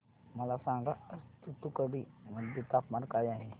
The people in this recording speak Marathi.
मला सांगा आज तूतुकुडी मध्ये तापमान काय आहे